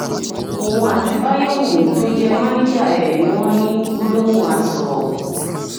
òun àti báyẹ̀wùmí tó jẹ́ mánìjà ẹ̀ ni wọ́n ní gbólóhùn asọ̀